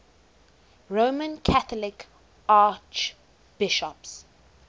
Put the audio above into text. roman catholic archbishops